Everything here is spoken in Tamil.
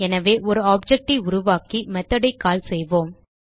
எனவே ஒரு ஆப்ஜெக்ட் ஐ உருவாக்கி methodஐ கால் செய்வோம்